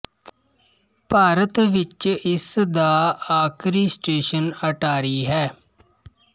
ਭਾਰਤ ਵਿੱਚ ਇਸ ਦਾ ਆਖਿਰੀ ਸਟੇਸ਼ਨ ਅਟਾਰੀ ਹੈ